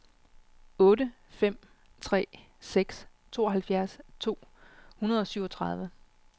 otte fem tre seks tooghalvfjerds to hundrede og syvogtredive